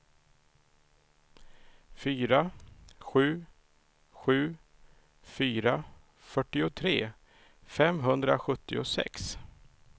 fyra sju sju fyra fyrtiotre femhundrasjuttiosex